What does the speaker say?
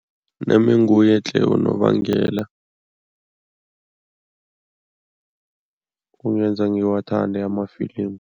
Nami nguye tle unobangela ongenza ngiwathande amafilimu.